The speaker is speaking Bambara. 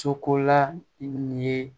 Sokola nin ye